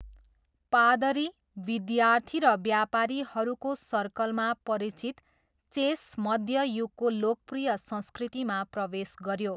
पादरी, विद्यार्थी र व्यापारीहरूको सर्कलमा परिचित चेस मध्य युगको लोकप्रिय संस्कृतिमा प्रवेश गऱ्यो।